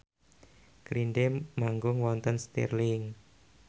Green Day manggung wonten Stirling